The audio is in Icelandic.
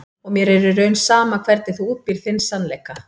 Og mér er í raun sama hvernig þú útbýrð þinn sannleika.